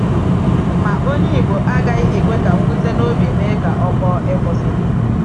Ma onye Ìgbò agaghị ekwe ka mwute n’obi mee ka ọ kpọọ ìkwụsị.